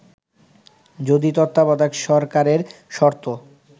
যদি তত্ত্বাবধায়ক সরকারের শর্ত